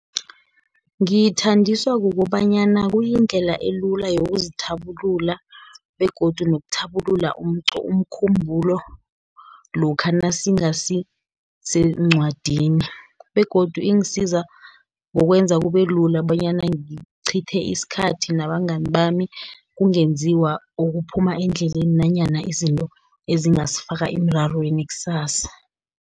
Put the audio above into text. Ngiyithandiswa kukobanyana kuyindlela elula yokuzithabulula, begodu nokuthabulula umkhumbulo lokha nasingasi seencwadini, begodu ingisiza ngokwenza kube lula, bonyana ngicithe isikhathi nabangani bami, kungenziwa okuphuma endleleni, nanyana izinto ezingasifaka emrarweni kusasa.